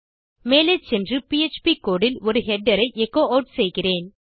மேலே சென்று PHP code இல் ஒரு ஹெடர் ஐ எச்சோ ஆட் செய்கிறேன்